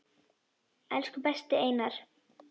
Elsku besti Einar.